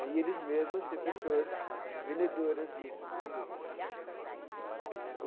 E eles mesmos ser pessoas vendedoras disso né.